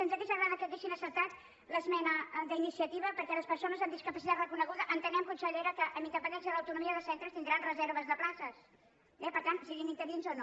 ens hauria agradat que haguessin acceptat l’esmena d’iniciativa perquè les persones amb discapacitat re·coneguda ho entenem consellera amb independèn·cia de l’autonomia de centres tindran reserves de pla·ces eh siguin interins o no